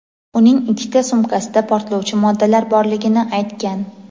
uning ikkita sumkasida portlovchi moddalar borligini aytgan.